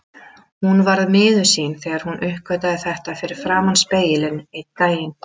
Hún varð miður sín þegar hún uppgötvaði þetta fyrir framan spegilinn einn daginn.